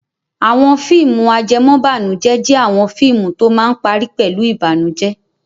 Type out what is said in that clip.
Àwọn fíìmù ajẹmọ́bànújẹ́ jẹ́ àwọn fíìmù tó máa ń parí pẹ̀lú ìbànújẹ́.